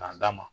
K'a d'a ma